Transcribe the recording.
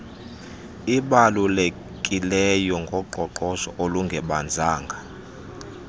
ibalulekileyo ngoqoqosho olungebanzanga